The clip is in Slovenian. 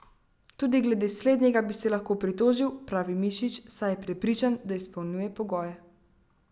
Tudi glede slednjega bi se lahko pritožil, pravi Mišič, saj je prepričan, da izpolnjuje pogoje.